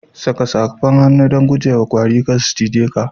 Saka safar hannu don guje wa kwari kar su cize ka.